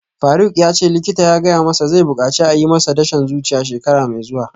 Faruk yace likita ya gaya masa zai bukaci a yi masa dashen zuciya shekara mai zuwa